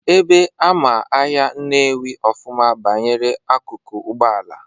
Ebe ama ahịa Nnewi ọfụma banyere akụkụ Ụgbọala,